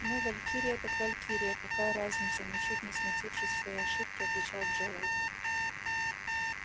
ну валькирия так валькирия какая разница ничуть не смутившись своей ошибки отвечал джералд